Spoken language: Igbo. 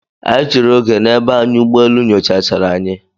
Anyị chere oge onye na-eba anyị ụgbọ elu nyocha chara anyị.